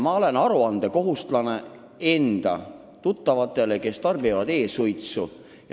Ma olen kohustatud aru andma enda tuttavatele, kes tarbivad e-suitsu.